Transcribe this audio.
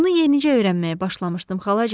Bunu yenicə öyrənməyə başlamışdım xalacan.